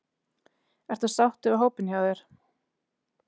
Ertu sáttur við hópinn hjá þér?